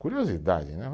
Curiosidade, né?